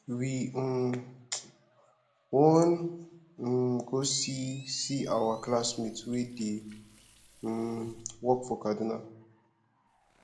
we um wan um go see see our classmate wey dey um work for kaduna